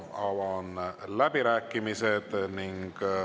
Avan läbirääkimised.